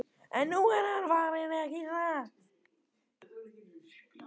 En nú er hann farinn, ekki satt?